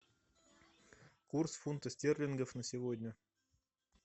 курс фунта стерлингов на сегодня